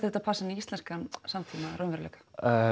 þetta passa inn í íslenskan samtíma og raunveruleika